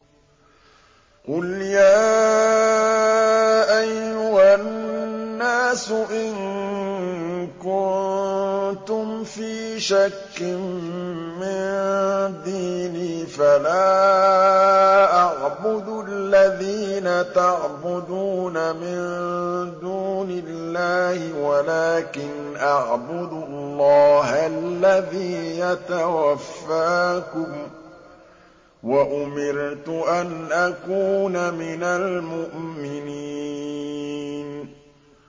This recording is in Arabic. قُلْ يَا أَيُّهَا النَّاسُ إِن كُنتُمْ فِي شَكٍّ مِّن دِينِي فَلَا أَعْبُدُ الَّذِينَ تَعْبُدُونَ مِن دُونِ اللَّهِ وَلَٰكِنْ أَعْبُدُ اللَّهَ الَّذِي يَتَوَفَّاكُمْ ۖ وَأُمِرْتُ أَنْ أَكُونَ مِنَ الْمُؤْمِنِينَ